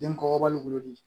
Den kɔkɔbali wolodi